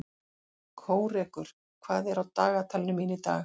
Kórekur, hvað er á dagatalinu mínu í dag?